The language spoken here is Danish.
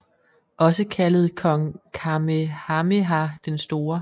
Også kaldet kong Kamehameha den Store